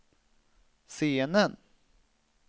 scenen